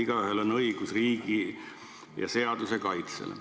Igaühel on õigus riigi ja seaduse kaitsele.